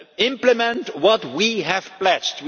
Implement what we have pledged.